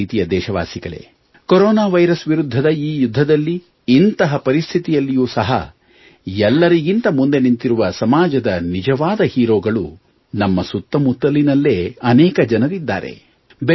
ನನ್ನ ಪ್ರೀತಿಯ ದೇಶವಾಸಿಗಳೇ ಕೊರೊನಾ ವೈರಸ್ನ ವಿರುದ್ಧದ ಈ ಯುದ್ಧದಲ್ಲಿ ಇಂತಹ ಪರಿಸ್ಥಿತಿಯಲ್ಲೂ ಸಹ ಎಲ್ಲರಿಗಿಂತ ಮುಂದೆ ನಿಂತಿರುವ ಸಮಾಜದ ನಿಜವಾದ ಹೀರೋಗಳು ನಮ್ಮ ಸುತ್ತಮುತ್ತಲಿನಲ್ಲೇ ಅನೇಕ ಜನರಿದ್ದಾರೆ